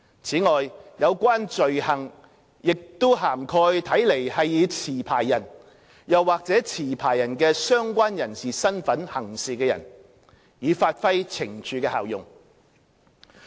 此外，有關罪行也涵蓋看來是以持牌人或持牌人的相關人士身份行事的人，以發揮懲處的效用。